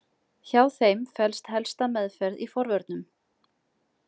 Hjá þeim felst helsta meðferð í forvörnum.